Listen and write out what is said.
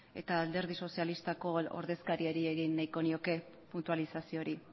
eta alderdi sozialistako ordezkariari egin nahiko nioke puntualizazio hori